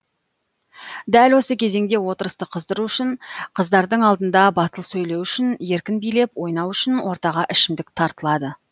дәл осы кезеңде отырысты қыздыру үшін қыздардың алдында батыл сөйлеу үшін еркін билеп ойнау үшін ортаға ішімдік тартылады